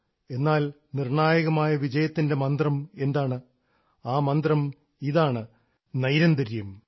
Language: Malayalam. എന്നാൽ നിർണ്ണായകമായ വിജയത്തിൻറെ മന്ത്രം എന്താണ് ആ മന്ത്രം ഇതാണ് നൈരന്തര്യം